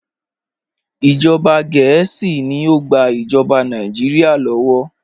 Ìjọba Gẹẹsi ni o gbà ìjọba Nàìjíríà lọ́wọ́.